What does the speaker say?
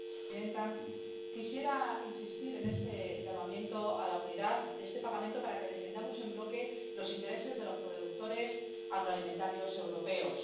Señora presidenta, quisiera insistir en ese llamamiento a la unidad de este Parlamento para que defendamos en bloque los intereses de los productores agroalimentarios europeos.